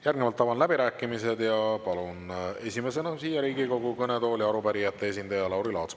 Järgnevalt avan läbirääkimised ja palun esimesena siia Riigikogu kõnetooli arupärijate esindaja Lauri Laatsi.